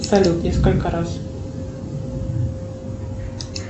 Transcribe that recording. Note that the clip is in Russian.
салют несколько раз